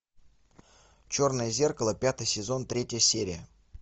черное зеркало пятый сезон третья серия